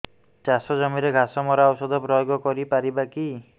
ଚାଷ ଜମିରେ ଘାସ ମରା ଔଷଧ ପ୍ରୟୋଗ କରି ପାରିବା କି